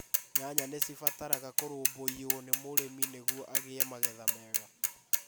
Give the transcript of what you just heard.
Nyanya ni cibataraga kũrũmbũiyio nĩ mũrĩmi nĩguo agĩe magetha mega.